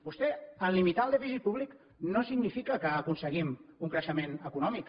vostè en limitar el dèficit públic no significa que aconseguim un creixement econòmic